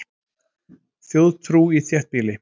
Þjóðtrú í þéttbýli